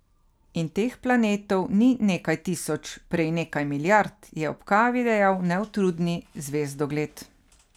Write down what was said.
In teh planetov ni nekaj tisoč, prej nekaj milijard, je ob kavi dejal neutrudni zvezdogled.